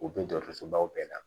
U bɛ dɔgɔtɔrɔsobaw bɛɛ la